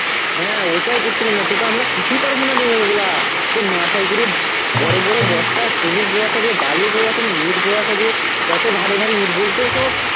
হ্যাঁ ওটাই করতে হবে নয়তো তো আমরা পারবো না রে ওগুলা. সে মাথায় করে বড় বড় বস্তা cement বয়াতে হবে, বালি বয়াতে হবে, ইট বয়াতে হবে কত ভারিভারি ঈট বোল তো সব